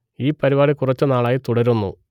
ഈ പരിപാടി കുറച്ചു നാൾ ആയി തുടരുന്നു